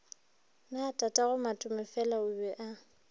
na tatagomatomefela o be a